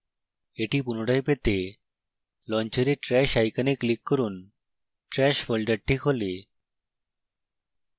এটি পুনরায় পেতে launcher trash icon click করুন